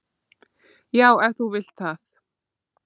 """Já, ef þú vilt það."""